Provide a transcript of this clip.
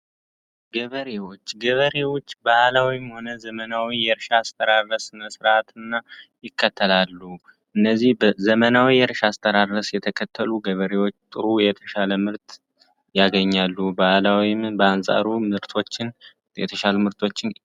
ገበሬዎች ገበሬዎች ባህላዊ ሆነ ዘመናዊ የእርሻ ስራ በስነ ስርዓትና ይከተላሉ። እነዚህ ዘመናዊ እርሻ አስተዳደር የተከተሉ ገበሬዎች ጥሩ የተሻለ ምርጥ ያገኛሉ ባህላዊ በአንፃሩ ምርቶችን የተሻለ ምርቶችን።